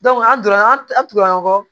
an donna an tindora ɲɔgɔn kɔ